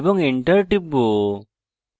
এবং enter টিপে